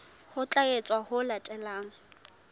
ho tla etswa ho latela